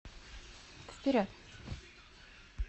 вперед